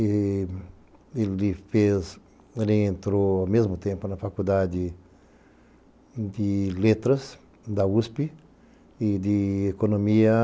Ele entrou ao mesmo tempo na faculdade de letras da USP e de economia...